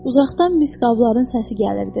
Uzaqdan mis qabların səsi gəlirdi.